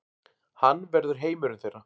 Hann verður heimurinn þeirra.